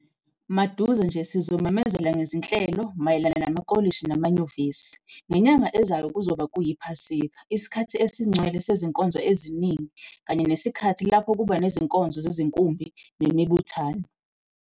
Maduze nje sizomemezela ngezinhlelo mayelana namakolishi namanyuvesi. Ngenyanga ezayo kuzoba kuyiPhasika, isikhathi esingcwele sezinkolo eziningi kanye nesikhathi lapho kuba nezinkonzo zezinkumbi nemibuthano.